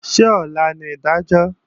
Ṣé ọ̀la ni ìdájọ́?